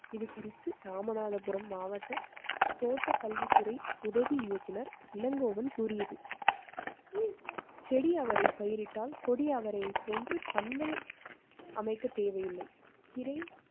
இது குறித்து ராமநாதபுரம் மாவட்ட தோட்டக் கல்வித்துறை உதவி இயக்குனர் இளங்கோவன் கூறியது. செடி அவரை பயிரிட்டால் கொடிய அவரை போன்று பந்தல் அமைக்க தேவையில்லை. கீரை